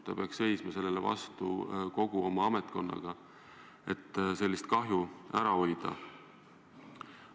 Ta peaks seisma sellele vastu kogu oma ametkonnaga, et sellist kahju ära hoida.